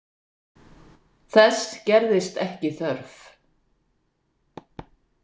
Þess gerðist ekki þörf.